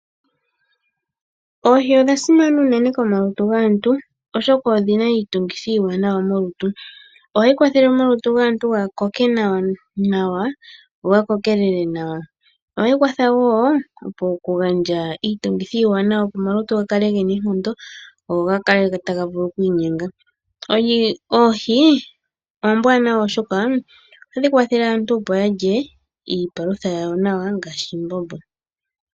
Oohi odhasimana unene komalutu gaantu oshoka odhina iitungithi iiwanawa molutu, ohadhi kwathele omalutu gaantu ga koke nawa nokukokelela nawa , ohadhi gandja woo iitungithi iiwanawa opo omalutu gakale gena oonkondo go gakale taga vulu okwiinyenga. Oohi oombwanawa oshoka ohadhi elelithwa woo iimbombo.